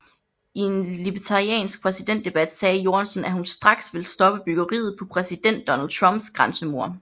I en libertariansk præsidentdebat sagde Jorgensen at hun straks vil stoppe byggeriet på præsident Donald Trumps grænsemur